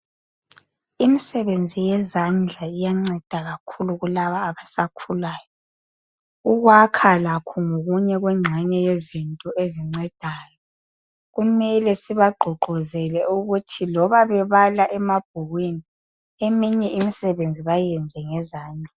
Imisebenzi yezandla iyanceda kakhulu kulaba abasakhulayo ukwakha lakho ngokunye kwengxenye yezinto ezincedayo kumele sibagqugquzele ukuthi loba bebala emabhukwini eminye imisebenzi bayenze ngezandla.